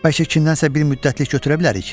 Bəlkə kimdənsə bir müddətlik götürə bilərik?